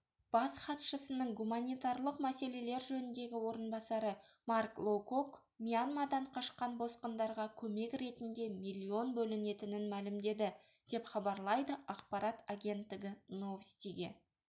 бас хатшысының гуманитарлық мәселелер жөніндегі орынбасары марк лоукок мьянмадан қашқан босқындарға көмек ретінде миллион бөлінетінін мәлімдеді деп хабарлайды ақпарат агенттігі новостиге